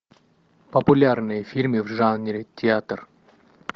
популярные фильмы в жанре театр